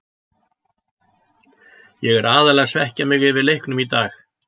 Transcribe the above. Ég er aðallega að svekkja mig yfir leiknum í dag.